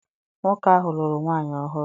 Nwoke ahụ lụrụ nwaanyị ọhụrụ.